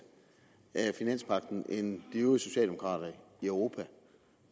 af finanspagten end de øvrige socialdemokrater i europa